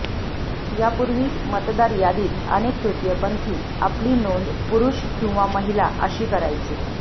यापूर्वी मतदार यादीत अनेक तृतीयपंथी आपली नोंद पुरुष किंवा महिला अशी करायचे